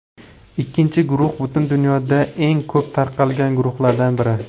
Ikkinchi guruh butun dunyoda eng ko‘p tarqalgan guruhlardan biri.